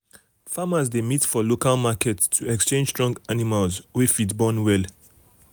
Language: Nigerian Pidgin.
farmers dey meet for local market to exchange strong animals wey fit born well.